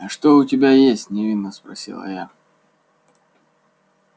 а что у тебя есть невинно спросила я